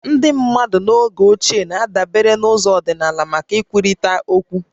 Ndị mmadụ n'oge ochie na-adabere na ụzọ ọdịnala maka nkwurịta okwu